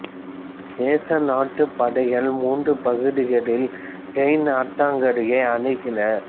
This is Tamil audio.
நேச நாட்டுப் படைகள் மூன்று பகுதிகளில் ரைன் ஆற்றங்கரையை அணுகின